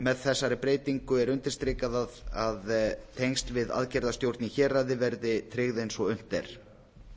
með þessari breytingu er undirstrikað að tengsl við aðgerðastjórn í héraði verði tryggð eins og unnt er